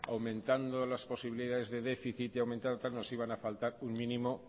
aumentando las posibilidades de déficit y aumentando tal nos iban a faltar un mínimo